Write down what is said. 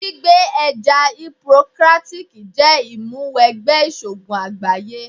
Gbígba ẹ̀jẹ́ Hipokrátíkí jẹ́ ìmúwẹgbẹ́ ìṣògùn àgbáyé.